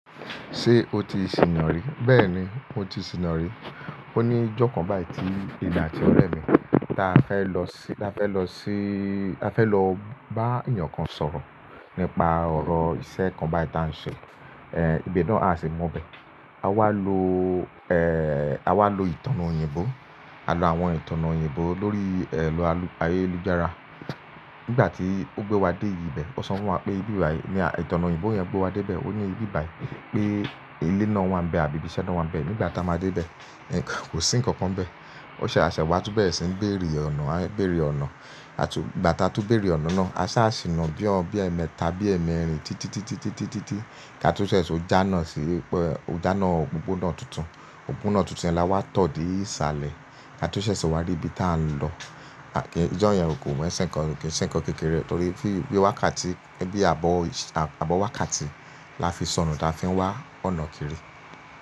Ṣé o ti sìná rí? Bẹ́ẹ̀ni, mo ti sìná rí. Ó ní ọjọ́ kan báyìí tí èmi àti ọ̀rẹ́ mi ta fẹ́ lọ sí, ta fẹ́ lọ sí, ta fẹ́ lọ bá ènìyàn kan sọ̀rọ̀ nípa ọ̀rọ̀ iṣẹ́ kan báyìí ta ń ṣe. Ibi náà a sì mọ ibẹ. A wá lo, eh, a wá lo ìtànà òyìnbó. A lo àwọn ìtànà òyìnbó lórí, ero ayélujára. Nígbà tí ó gbé wa dé ìbẹ̀, ó sọ fún wa pé ìbí bayi, ni ìtànà òyìnbó yẹn gbé wa dé ìbẹ̀. Ó ní ìbí báyìí pé ilé náà wà níbẹ̀ àbí ibi iṣẹ́ náà wà níbẹ̀. Nígbà tá a máa dé bẹ̀, kò sí nǹkan kan bẹ̀. Ó ṣe à ṣẹ wa tú bere sìn ń bèrè ọ̀nà, a ń bèrè ọ̀nà. Àtú, nígbà tá a tú bèrè ọ̀nà náà, a sá sì na bí ọ bí ẹmẹ́ta bí ẹmẹ̀rin títí, títí, títí, títí. Ka tú ṣẹ̀ṣẹ̀ to jána sí pẹ̀, o jána òpópónà tuntun. Òpópónà tuntun yẹn la wá tọ̀ di ìsàlẹ̀. Ka to ṣẹ̀ṣẹ̀ ṣe wa rí ibi tá a ń lọ. Ijó yẹn ò kí n se ńkan, kì í sì ń sìnkan kékeré torí bí wákàtí, ẹbí àbọ̀, àbọ̀ wákàtí la fi sọnù táa fi ń wá ọ̀nà kiri.